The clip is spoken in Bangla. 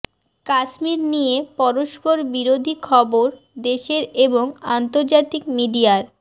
কাশ্মীর নিয়ে পরস্পর বিরোধী খবর দেশের এবং আন্তর্জাতিক মিডিয়ার